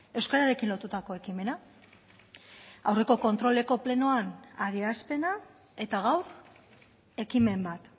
euskararekin lotutako ekimena aurreko kontroleko plenoan adierazpena eta gaur ekimen bat